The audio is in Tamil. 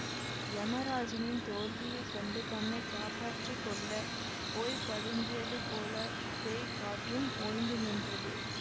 யமராஜனின் தோல்வியைக் கண்டு தன்னை காப்பாற்றி கொள்ள போய் பதுங்கியது போல பேய்க் காற்றும் ஓய்ந்து நின்றது